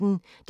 DR P1